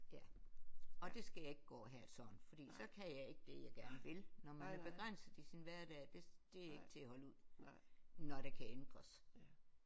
Ja og det skal jeg ikke gå og have det sådan fordi så kan jeg ikke det jeg gerne vil når man er begrænset i sin hverdag det det er ikke til at holde ud når det kan ændres